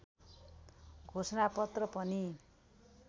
घोषणापत्र पनि